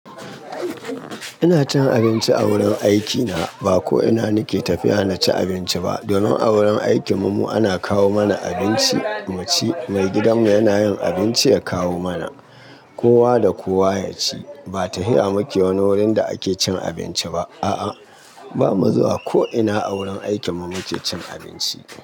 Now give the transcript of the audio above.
Ina cin abinci a wurin aikina. Ba ko ina nike tafiya naci abinci ba. Domin a wurin aikin mu ana kawo mana abinci mu ci. Mai gidanmu yana yin abinci ya kawo mana. Kowa da kowa ya ci. Ba tahiya muke wani wurin da ake cin abinci ba. A'a, ba mu zuwa ko ina a wurin aikin mu muke cin abinci.